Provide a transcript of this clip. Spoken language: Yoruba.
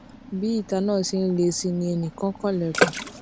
bí itan náà ṣe ń le sí i ni ẹnì kan kan ilèkùn